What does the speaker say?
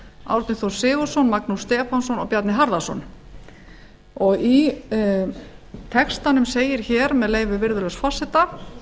árni þór sigurðsson magnús stefánsson og bjarni harðarson í textanum segir með leyfi virðulegs forseta